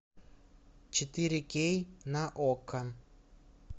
четыре кей на окко